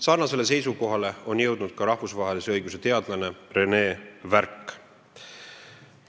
" Sarnasele seisukohale on jõudnud ka rahvusvahelise õiguse dotsent René Värk.